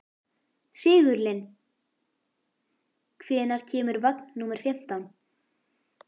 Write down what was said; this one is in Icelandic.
Sigurlinn, hvenær kemur vagn númer fimmtán?